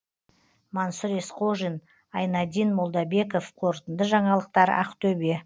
мансұр есқожин айнадин молдабеков қорытынды жаңалықтар ақтөбе